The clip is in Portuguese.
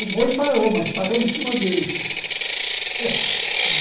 O boi parou, mas parou em cima dele.